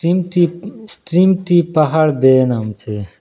নিচে উম স্ট্রিম -টি পাহাড় বেয়ে নামছে।